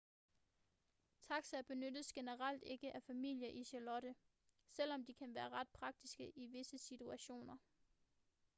taxaer benyttes generelt ikke af familier i charlotte selvom de kan være ret praktiske i visse situationer